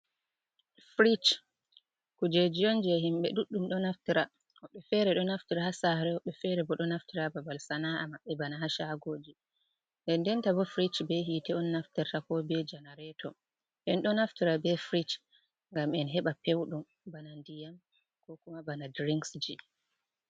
Firig kujeji on je himɓe duɗɗum do naftira. Wobɓe fere ɗo naftira ha sare. Wobbe fere bo do naftira babal sana’a mabbe bana ha sagoji. Ɗendenta bo firig be hite on naftirta ko be janareto. endo naftira be firig ngam en heɓa pewɗum, bana ndiyam ko kuma bana dirinks ji.